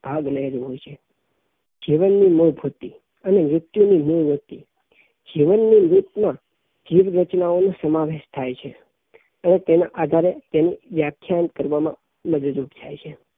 ભાગ લઇ રહી હોઈ છે જીવન ની મોહવૃત્તિ અને મૃત્યુ ની મોહવૃત્તિ જીવન ની રીત માં જીવ રચનાનો સમાવેશ થાય છે અને તેના આધારે તેની વ્યાખ્યાયન કરવામાં મદદરૂપ થાય છે